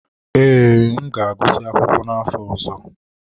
Ee, M ga-agụsị akwụkwọ n'afọ ọzọ.